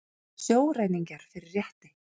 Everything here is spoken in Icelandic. Sjóræningjar fyrir rétti